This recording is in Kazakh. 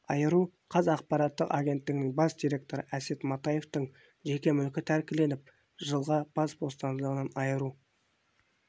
айыру қаз ақпараттық агенттігінің бас директоры әсет матаевтың жеке мүлкі тәркіленіп жылға бас бостандығынан айыру